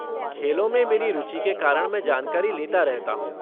खेलों में मेरी रुचि के कारण मैं जानकारी लेता रहता हूँ।